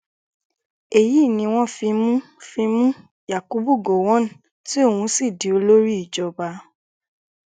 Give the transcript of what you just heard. èyí ni wọn fi mú fi mú yakubu gọwọn tí òun sì di olórí ìjọba